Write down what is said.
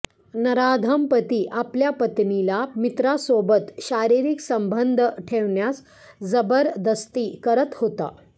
नराधम पती आपल्या पत्नीला मित्रासोबत शारीरिक संबंध ठेवण्यास जबरदस्ती करत होता